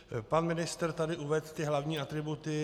Pan ministr tady uvedl ty hlavní atributy.